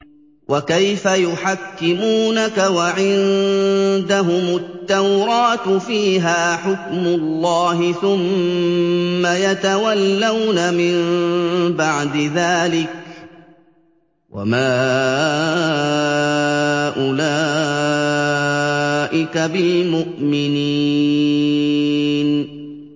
وَكَيْفَ يُحَكِّمُونَكَ وَعِندَهُمُ التَّوْرَاةُ فِيهَا حُكْمُ اللَّهِ ثُمَّ يَتَوَلَّوْنَ مِن بَعْدِ ذَٰلِكَ ۚ وَمَا أُولَٰئِكَ بِالْمُؤْمِنِينَ